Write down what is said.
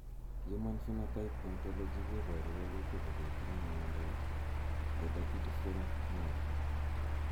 Human Phenotype Ontology koporu wolutik kole itinye Miondap Hydatidiform mole.